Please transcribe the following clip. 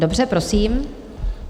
Dobře, prosím.